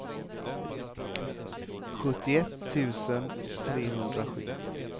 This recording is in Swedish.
sjuttioett tusen trehundrasju